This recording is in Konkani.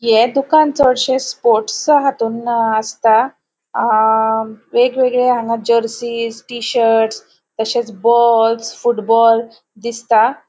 ये दुकान चडशे स्पोर्ट्स हातून असता. अ वेगवेगळे हांगा जर्सीस टी शर्ट तशेच बॉल्स फूटबॉल दिसता.